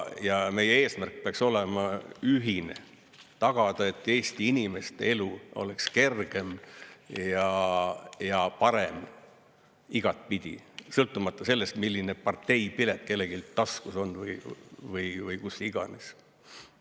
Ja meie eesmärk peaks olema ühine: tagada, et Eesti inimeste elu oleks kergem ja parem igatpidi, sõltumata sellest, milline parteipilet kellelgi taskus on või kus iganes.